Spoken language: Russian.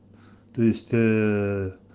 то есть